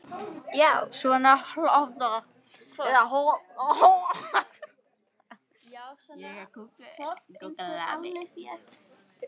Já, svona hvolp einsog Alli fékk, eða næstum eins.